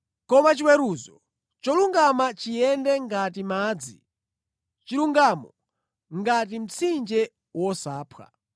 Koma chiweruzo cholungama chiyende ngati madzi, chilungamo ngati mtsinje wosaphwa!